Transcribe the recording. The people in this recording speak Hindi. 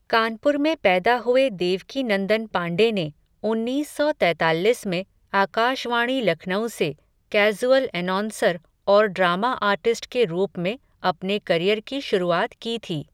कानपुर में पैदा हुए देवकीनंदन पांडे ने, उन्नीस सौ तैताल्लिस में, आकाशवाणी लखनऊ से, कैज़ुअल एनौंसर, और ड्रामा आर्टिस्ट के रूप में अपने करियर की शुरुआत की थी.